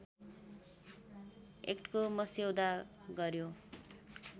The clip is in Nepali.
एक्टको मस्यौदा गर्‍यो